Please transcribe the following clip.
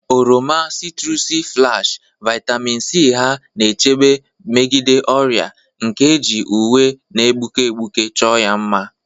Oroma 'citrusy splash, vitamin C ha na-echebe megide ọrịa, nke e ji uwe na-egbuke egbuke chọọ ya mma.